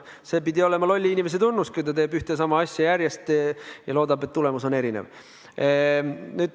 See pidi olema lolli inimese tunnus, kui ta teeb järjest ühte ja sama asja, aga loodab, et tulemus on erinev.